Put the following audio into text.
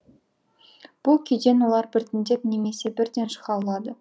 бұл күйден олар біртіндеп немесе бірден шыға алады